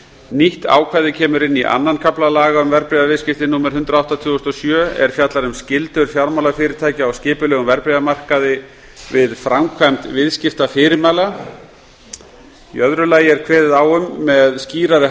nýtt ákvæði kemur inn í öðrum kafla laga um verðbréfaviðskipti númer hundrað og átta tvö þúsund og sjö er fjallar um skyldur fjármálafyrirtækja á skipulegum verðbréfamarkaði við framkvæmd viðskiptafyrirmæla kveðið er á um með skýrari